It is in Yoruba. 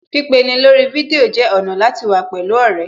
Pípeni lórí fídíò jẹ́ ọ̀nà láti wà pẹ̀lú ọ̀rẹ́